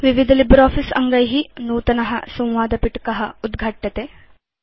विविध लिब्रियोफिस अङ्गै नूतन संवादपिटक उद्घाट्यते